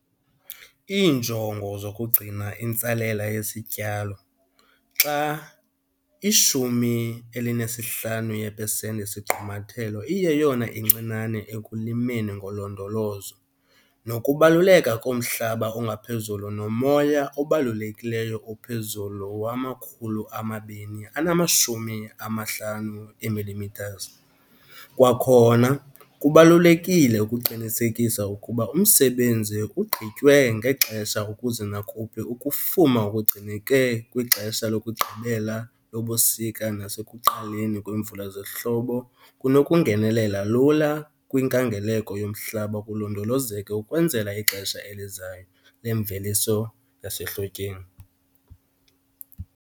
Iinjongo zokugcina intsalela yesityalo, xa i-15 yepesenti yesigqumathelo iyeyona incinane ekulimeni ngolondolozo, nokubaluleka komhlaba ongaphezulu nomoya obalulekileyo ophezulu wama-250 mm. Kwakhona kubalulekile ukuqinisekisa ukuba umsebenzi ugqitywe ngexesha ukuze nakuphi ukufuma okugcineke kwixesha lokugqibela lobusika nasekuqaleni kweemvula zehlobo kunokungenelela lula kwinkangeleko yomhlaba kulondolozeke ukwenzela ixesha elizayo lemveliso yasehlotyeni.